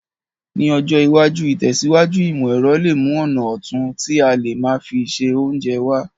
Ní ọjọ́ iwájú, ìtẹ̀síwájú ìmọ̀ èrọ le mu ọ̀nà otun ti a le má fi se ounje wa